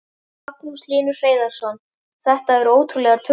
Magnús Hlynur Hreiðarsson: Þetta eru ótrúlegar tölur?